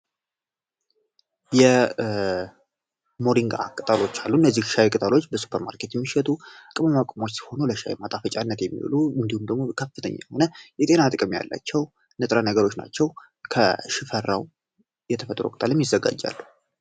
ሞሪንጋ ቅጠሎች የሚሸጡ ሲሆኑ እንዲሁም ደግሞ ያላቸው ንጥረ ነገሮች ናቸው ከሽፈራው የተፈጥሮ ይዘጋጃል